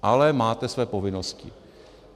Ale máte své povinnosti.